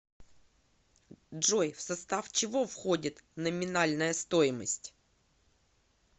джой в состав чего входит номинальная стоимость